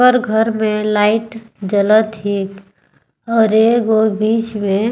कर घर में लाइट जलत हे और एगो बिच में--